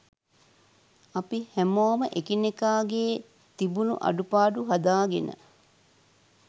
අපි හැමෝම එකිනෙකාගේ තිබුණු අඩුපාඩු හදාගෙන